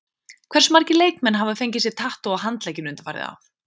Hversu margir leikmenn hafa fengið sér tattú á handlegginn undanfarið ár?